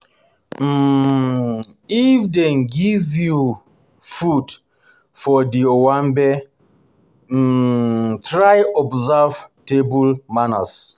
um If dem um give you you food for di owanbe, um try observe table manners